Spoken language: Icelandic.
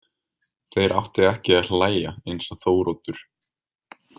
Þeir áttu ekki að hlæja eins og Þóroddur.